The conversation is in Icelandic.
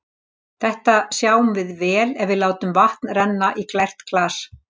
Þetta sjáum við vel ef við látum vatn renna í glært glas.